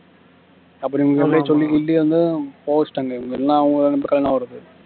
அப்புறம் இவங்க அப்படியே சொல்லி கில்லி வந்து போக வச்சுட்டாங்க இல்லனா அவங்க ரெண்டு பேருக்கும் கல்யாணம் ஆகறது